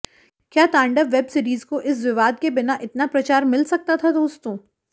क्या तांडव वेबसीरीज को इस विवाद के बिना इतना प्रचार मिल सकता था दोस्तों